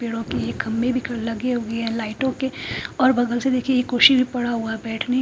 पेड़ो के ये खब्बे भी लगे हुए है लाइटो के और बगल से देखिये ये कुर्सी पड़ा हुआ है बेठने--